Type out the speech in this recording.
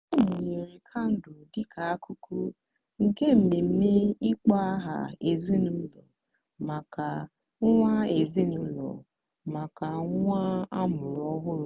ọ mụnyere kandụl dịka akụkụ nke mmemme ịkpọ aha ezinụlọ maka nwa ezinụlọ maka nwa amụrụ ọhụrụ.